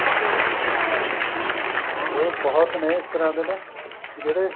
ਹੋਰ ਬਹੁਤ ਨੇ ਇਸ ਤਰ੍ਹਾਂ ਦੇ ਨੇ ਜਿਹੜੇ